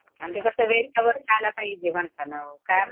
आणि ते कसं वेळच्यावेळी खायला पाहिजे म्हणतांना